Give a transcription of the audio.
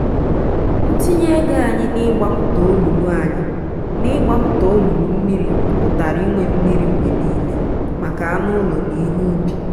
ntinye ego anyị n'ịgbapụta olulu anyị n'ịgbapụta olulu mmiri pụtara inwe mmiri mgbe niile maka anụ ụlọ na ihe ubi.